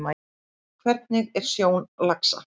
Hvernig er sjón laxa?